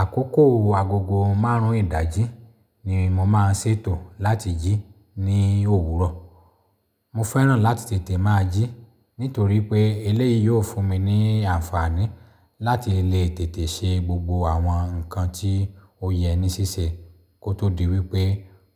Àkókò agogo márùn-ún ìdájí ni mo máa ń ṣètò láti jí ní òwúrọ̀. Mo fẹ́ràn láti tètè máa jí nítorí pé eléyìí yóò fún mi ní àǹfààní láti lè tètè ṣe gbogbo àwọn nǹkan tí ó yẹ ní ṣíṣe kó tó di wípé